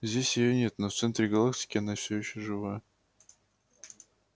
здесь её нет но в центре галактики она все ещё жива